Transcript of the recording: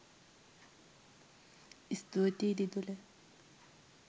ස්තුතියි දිදුල